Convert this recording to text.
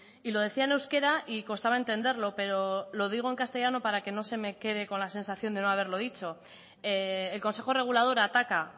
y lo decía en euskera y costaba entenderlo pero lo digo en castellano para que no se me quede con la sensación de no haberlo dicho el consejo regulador ataca